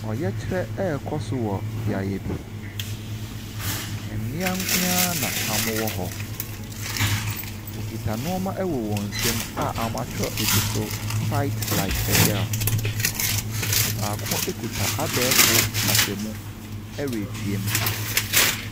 Ɔkyerɛ rekɔ so wɔ beaeɛ bi. Mmea nkoa na wɔwɔ hɔ. Wɔkita nnoɔma wɔ wɔn nsa mu a wɔakyerɛw so "fight like a girl". Ɔbaako kuta abɛɛfo kasamu retea mu.